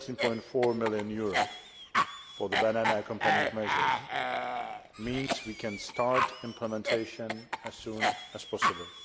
13.4 million for the Banana Accompanying Measures means we can start implementation as soon as possible.